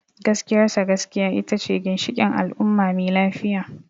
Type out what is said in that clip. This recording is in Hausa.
Gaskiyar sa, gaskiya ita ce ginshikin al’umma mai lafiya.